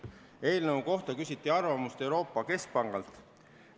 Eelnõu kohta küsiti arvamust Euroopa Keskpangalt.